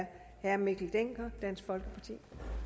er herre mikkel dencker dansk folkeparti